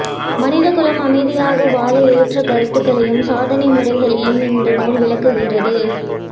மனிதகுலம் அமைதியாக வாழ ஏற்ற கருத்துகளையும் சாதனை முறைகளையும் இந்த நூல் விளக்குகிறது